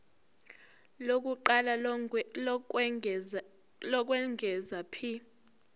lokuqala lokwengeza p